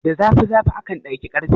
Da zafi zafi akan daki ƙarfe.